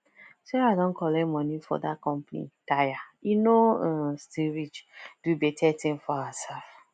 sarah don collect money for that company tire e no um still reach do bette thing for herself